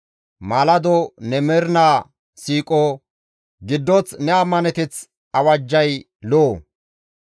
Maalado ne mernaa siiqo, giddoth ne ammaneteth awajjay lo7o.